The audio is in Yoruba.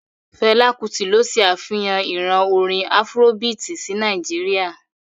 Fela Kuti ló se afihan ìran orin afurobiiti sí Nàìjíríà.